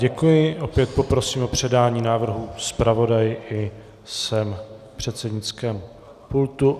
Děkuji, opět poprosím o předání návrhu zpravodaji i sem k předsednickému pultu.